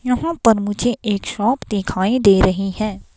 यहां पर मुझे एक शॉप दिखाई दे रही है.